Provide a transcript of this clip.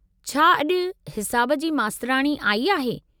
छा अॼु हिसाब जी मास्तराणी आई आहे?